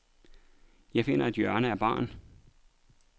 Jeg finder et hjørne af baren.